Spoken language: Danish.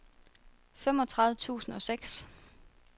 femogtredive tusind og seks